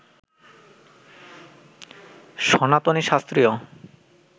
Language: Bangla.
সনাতনী শাস্ত্রীয়